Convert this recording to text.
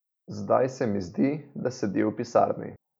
Zdaj se mi zdi, da sedi v pisarni.